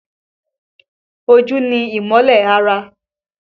Ojú ni ìmọ́lẹ̀ ara